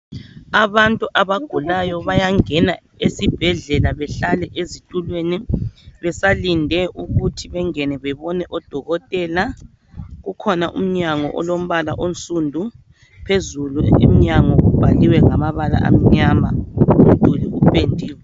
Abantu abagulayo bayangena esibhedlela behlale ezitulweni besalinde ukuthi bengene bebone odokotela. Ukhona umnyango olombala onsundu phezulu emnyango kubhaliwe ngamabala amnyama ,kupendiwe.